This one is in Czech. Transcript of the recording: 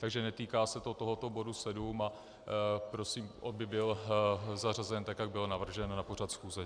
Takže netýká se to tohoto bodu 7 a prosím, aby byl zařazen tak, jak byl navržen na pořad schůze.